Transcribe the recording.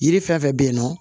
Yiri fɛn fɛn bɛ yen nɔ